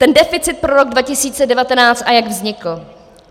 Ten deficit pro rok 2019 a jak vznikl.